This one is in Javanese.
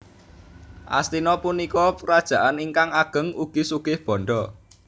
Astina punika krajaan ingkang ageng ugi sugih bandha